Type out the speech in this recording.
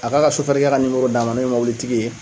A k'a ka sofɛrikɛ ka nimoro d'an ma n'o ye mɔbilitigi ye